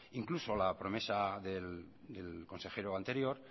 incluso la promesa del consejero anterior